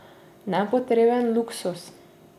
Nepotreben luksuz.